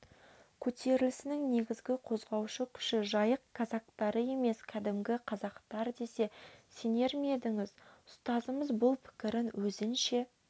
көтерілісінің негізгі қозғаушы күші жайық казактары емес кәдімгі қазақтар десе сенер ме едіңіз ұстазымыз бұл пікірін өзінше